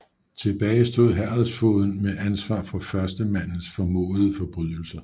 Tilbage stod herredsfogeden med ansvar for førstemandens formodede forbrydelser